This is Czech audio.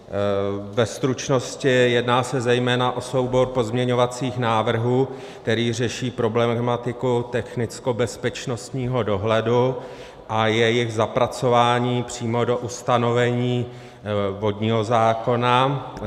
Ve stručnosti, jedná se zejména o soubor pozměňovacích návrhů, kteří řeší problematiku technickobezpečnostního dohledu a jejich zapracování přímo do ustanovení vodního zákona.